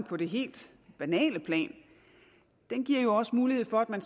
på det helt banale plan giver jo også mulighed for at man